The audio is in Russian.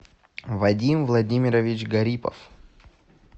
вадим владимирович гарипов